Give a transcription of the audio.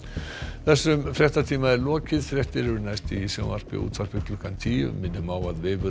þessum fréttatíma er lokið fréttir eru næst í sjónvarpi og útvarpi klukkan tíu minnum á að vefurinn